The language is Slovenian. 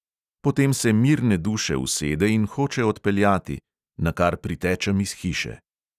Potem se mirne duše usede in hoče odpeljati ... nakar pritečem iz hiše ...